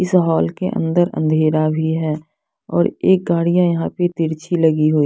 इस हॉल के अंदर अंधेरा भी है और एक गाड़ियां यहाँ पे तिरछी लगी हुई--